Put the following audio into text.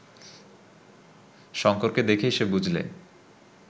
শঙ্করকে দেখেই সে বুঝলে